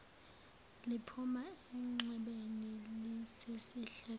liphuma enxebeni elisesihlathini